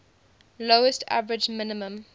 lowest average minimum